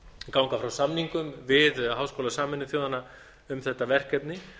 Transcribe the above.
ganga frá samningum við háskóla sameinuðu þjóðanna um þetta verkefni